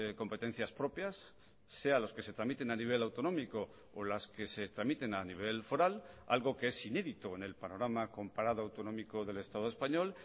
competencias propias sea los que se tramiten a nivel autonómico o las que se tramiten a nivel foral algo que es inédito en el panorama comparado autonómico del estado español